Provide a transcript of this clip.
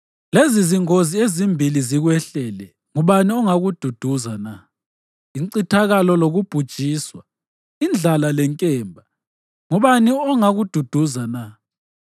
Lezizingozi ezimbili zikwehlele; ngubani ongakududuza na? Incithakalo lokubhujiswa, indlala lenkemba, ngubani ongakududuza na?